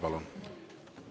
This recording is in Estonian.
Palun!